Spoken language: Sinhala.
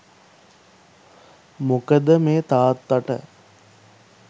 මොකද මේ තාත්තට